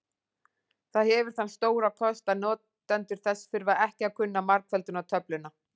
Það hefur þann stóra kost að notendur þess þurfa ekki að kunna margföldunartöfluna.